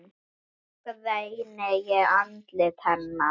Þá greini ég andlit hennar.